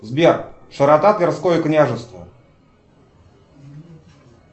сбер широта тверское княжество